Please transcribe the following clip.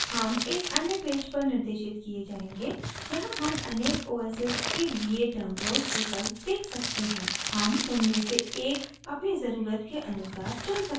हम एक अन्य पेज पर निर्देशित किये जायेंगे यहाँ हम अनेक os s के लिए download विकल्प देख सकते हैं हम उनमें से एक अपनी ज़रुरत के अनुसार चुन सकते हैं